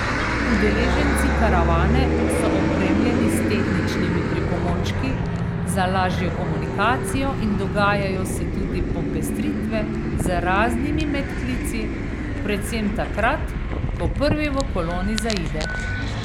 Udeleženci karavane so opremljeni s tehničnimi pripomočki za lažjo komunikacijo in dogajajo se tudi popestritve z raznimi medklici, predvsem takrat, ko prvi v koloni zaide.